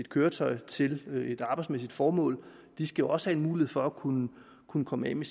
køretøjer til et arbejdsmæssigt formål de skal også have en mulighed for at kunne kunne komme af med